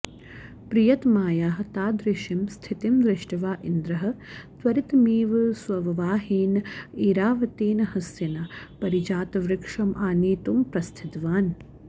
प्रियतमायाः तादृशीं स्थितिं दृष्ट्वा इन्द्रः त्वरितमेव स्ववाहनेन ऐरावतेन हस्तिना पारिजातवृक्षम् आनेतुं प्रस्थितवान्